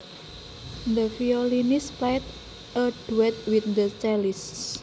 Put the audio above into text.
The violinist played a duet with the cellist